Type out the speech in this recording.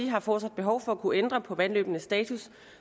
har fortsat behov for at kunne ændre på vandløbenes status